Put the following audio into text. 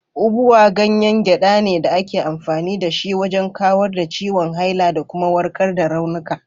Ubwa ganyen gyada ne da ake amfani da shi wajen kawar da ciwon haila da kuma warkar da raunuka.